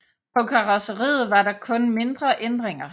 På karrosseriet var der kun mindre ændringer